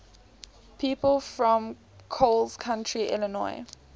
people from coles county illinois